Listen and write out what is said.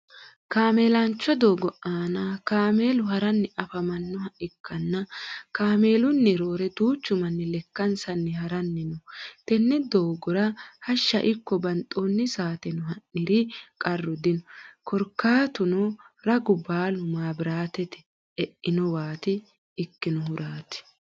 kameelancho doogo aanna kameelu haranni afamanoha ikanna kameelunni roore duuchu manni lekkansanni haranni no tenne doogora hashsha iko banxoonni saatenno ha'niri qaru dinno karikaatunno raggu baalu mabiraate e'inowati ikinohuraati.